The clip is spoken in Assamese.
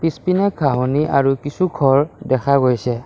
পিছপিনে ঘাঁহনি আৰু কিছু ঘৰ দেখা গৈছে।